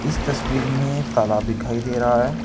इस तस्वीर में एक तालाब दिखाई दे रहा है।